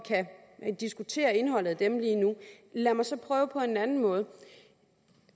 diskutere indholdet af dem lad mig så prøve på en anden måde